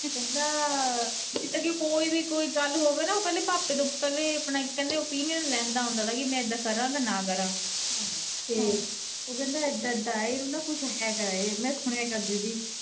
ਕਹਿੰਦਾ ਕੋਈ ਵੀ ਕੋਈ ਗੱਲ ਹੋਵੇ ਨਾ ਓਹ ਪਾਪੇ ਤੋਂ ਪਹਿਲਾਂ ਆਪਣੇ ਓਪੀਨੀਆਂਨ ਲੈਂਦਾ ਹੁੰਦਾ ਥਾ ਕਿ ਮੈਂ ਇਦਾ ਕਰਾ ਜਾ ਨਾ ਕਰਾਂ ਉਹ ਕਹਿੰਦਾ ਏਦਾ ਏਦਾ ਏ, ਓ ਕਹਿੰਦਾ ਕੁੱਝ ਹੈਗਾ ਏ, ਮੈਂ ਸੁਣੇ ਕਰਦੀ ਸੀ।